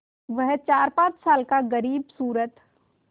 वह चारपाँच साल का ग़रीबसूरत